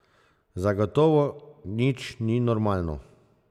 Zagotovo nič ni normalno.